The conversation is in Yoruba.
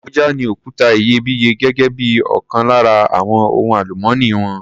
Abuja ní òkuta iyebíye gẹ́gé bí ọkan lára àwon ohun àlùmọ́nì wọn.